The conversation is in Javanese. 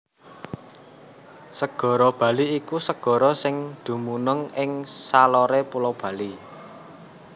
Segara Bali iku segara sing dumunung ing saloré Pulo Bali